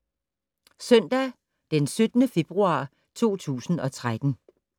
Søndag d. 17. februar 2013